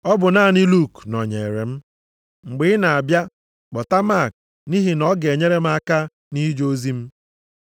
Ọ bụ naanị Luk nọnyere m. Mgbe ị na-abịa, kpọta Mak nʼihi na ọ ga-enyere m aka nʼije ozi m.